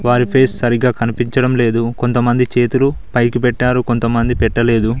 Face సరిగా కనిపిచడం లేదు కొంతమంది చేతులు పైకి పెట్టారు కొంతమంది పెట్టలేదు.